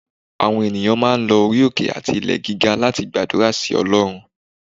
Àwon eniyan máà ń lò orí oké ati ilè gígá lati gbadurá si Olorún.